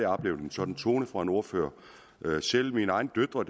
oplevet en sådan tone fra en ordfører selv mine egne døtre